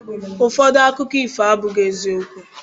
Ụfọdụ akụkọ ifo abụghị eziokwu